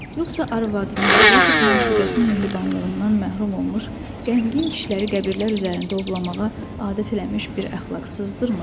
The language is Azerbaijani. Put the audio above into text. Yoxsa arvadının, yaxud məşuqəsinin mehribanlığından məhrum olmuş qəmgin kişiləri qəbirlər üzərində ovlamağa adət eləmiş bir əxlaqsızdırmı?